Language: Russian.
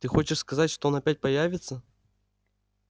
ты хочешь сказать что он опять появится